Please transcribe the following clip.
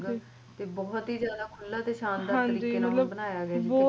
ਤੇ ਬਹੁਤ ਹੀ ਜ਼ਿਆਦਾ ਖੁਲ੍ਹਾ ਤੇ ਸ਼ਾਨਦਾਰ ਤਰੀਕੇ ਨਾਲ ਬਣਾਇਆ ਗਿਆ